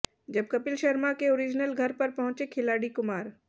जब कपिल शर्मा के ओरिजनल घर पर पहुंचे खिलाड़ी कुमार